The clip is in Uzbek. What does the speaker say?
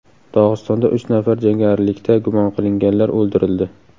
Dog‘istonda uch nafar jangarilikda gumon qilinganlar o‘ldirildi.